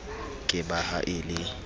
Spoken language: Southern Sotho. ke ba ha e le